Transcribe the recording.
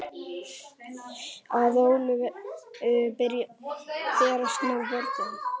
Að Ólöfu berast nú böndin.